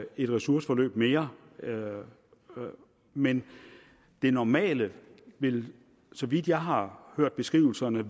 et ressourceforløb mere men det normale vil så vidt jeg har hørt beskrivelserne